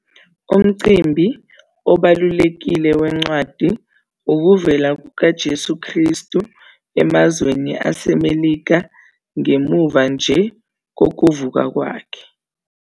Umcimbi obalulekile wencwadi ukuvela kukaJesu Kristu emazweni aseMelika ngemuva nje kokuvuka kwakhe.